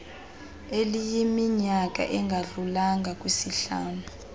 eliyiminyaka engadlulanga kwisihlanu